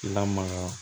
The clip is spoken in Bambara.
Lamaga